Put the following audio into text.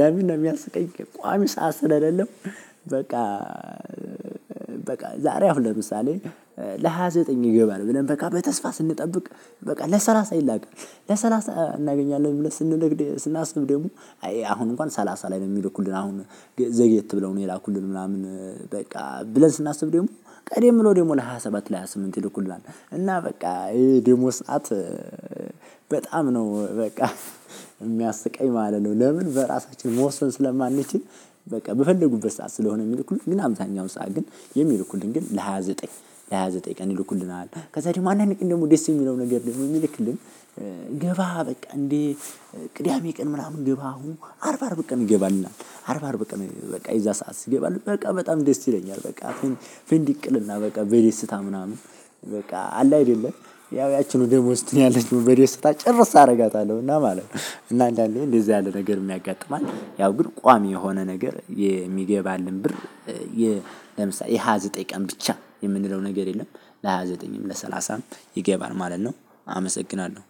ለምን ነው የሚያስቀኝ? ቋሚ ሰዓት ስለሌለው። በቃ በቃ ዛሬ አሁን ለምሳሌ ለሃያ ዘጠኝ ይገባል ብለን በቃ በተስፋ ስንጠብቅ በቃ ለሰላሳ ይላካል ለሰላሳ እናገኛለን ብለን ስንነግድ ስናስብ ደግሞ አሁን እንኳን ሰላሳ ላይ ነው የሚልኩልን አሁን ዘግየት ብለው ነው የላኩልን ምናምን በቃ ብለን ስናስብ ደግሞ ቀደም ብለው ደግሞ ለሃያ ሰባት ለሃያ ስምንት ይልኩላል እና በቃ ይሄ ደግሞ ስዓት በጣም ነው በቃ የሚያስቀኝ ማለት ነው። ለምን በራሳችን መወሰን ስለማንችል። በቃ በፈለጉበት ሰዓት ስለሆነ የሚልኩልኝ ግን አብዛኛው ሰዓት ግን የሚልኩልን ግን ለሃያ ዘጠኝ ለሃያ ዘጠኝ ቀን ይልኩልናል። ከዛ ደግሞ አንዳንድ ቀን ደግሞ ደስ የሚለው ነገር ደግሞ ሚልክልን ገባ በቃ እንዴ? ቅዳሜ ቀን ምናምን ግባ አሁን አርብ አርብ ቀን እገባለሁ አርብ አርብ ቀን በቃ የዛ ሰዓት ሲገባለን በቃ በጣም ደስ ይለኛል። በቃ አሁን ፍንዲቅ እልና በቃ በደስታ ምናምን በቃ አለ አይደለ ያው ያቺኑ ደሞዝ እኔ ያለችው ጭርስ አደርጋታለሁ እና ማለት ነው። እና አንዳንዴ እንደዚህ ያለ ነገር ያጋጥማል ያው ግን ቋሚ የሆነ ነገር ሚገባን ብር። ለምሳሌ የሃያ ዘጠኝ ቀን ብቻ የምንለው ነገር የለም። ለሃያ ዘጠኝም ለሰላሳም ይገባል ማለት ነው። አመሰግናለሁ።